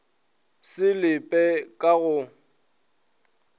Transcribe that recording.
se le pe ka go